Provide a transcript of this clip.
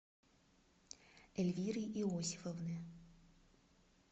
эльвиры иосифовны